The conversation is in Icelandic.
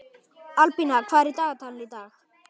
Albína, hvað er í dagatalinu í dag?